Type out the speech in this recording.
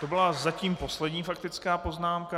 To byla zatím poslední faktická poznámka.